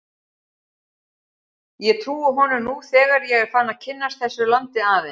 Og ég trúi honum nú þegar ég er farinn að kynnast þessu landi aðeins.